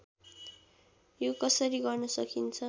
यो कसरी गर्न सकिन्छ